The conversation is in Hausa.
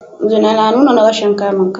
Zina na nuna rashin kamun kai